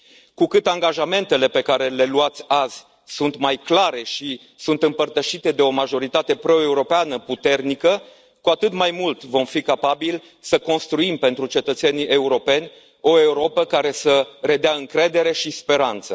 Cu cât angajamentele pe care le luați azi sunt mai clare și sunt împărtășite de o majoritate proeuropeană puternică, cu atât mai mult vom fi capabili să construim pentru cetățenii europeni o Europă care să redea încredere și speranță.